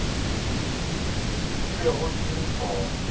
ke bego ke le sona